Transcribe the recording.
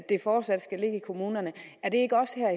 det fortsat skal ligge i kommunerne er det ikke os her